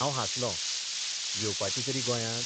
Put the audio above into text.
हांव हांसलोंः 'येवपाची तरी गोंयांत?